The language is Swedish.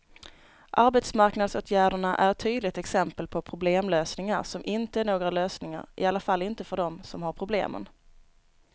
Arbetsmarknadsåtgärderna är ett tydligt exempel på problemlösningar som inte är några lösningar, i alla fall inte för dem som har problemen.